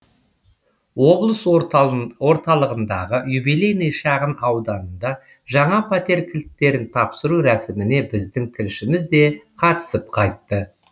облыс орталығындағы юбилейный шағын ауданында жаңа пәтер кілттерін тапсыру рәсіміне біздің тілшіміз де қатысып қайтты